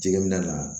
Jɛgɛminɛ na